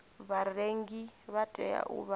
vharengi vha tea u vha